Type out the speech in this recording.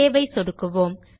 save ஐ சொடுக்கவும்